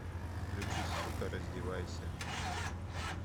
включи сука раздевайся